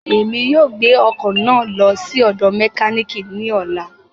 Emi yóò gbe ọkọ naa lọ si ọdọ mekaniki ni ọla.